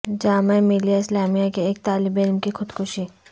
جامعہ ملیہ اسلامیہ کے ایک طالب علم کی خودکشی